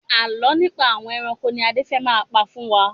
Àálọ́ nípa àwọn ẹranko ni Adé fẹ́ pa fún wa.